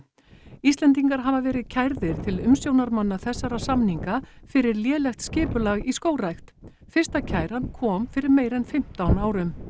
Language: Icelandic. Íslendingar hafa verið kærðir til umsjónarmanna þessara samninga fyrir lélegt skipulag í skógrækt fyrsta kæran kom fyrir meira en fimmtán árum